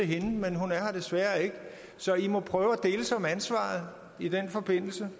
hende men hun er her desværre ikke så i må prøve at deles om ansvaret i den forbindelse